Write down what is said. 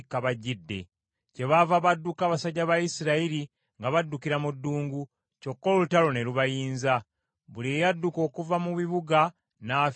Kyebaava badduka abasajja ba Isirayiri nga baddukira mu ddungu, kyokka olutalo ne lubayinza. Buli eyadduka okuva mu bibuga n’afiira wamu nabo.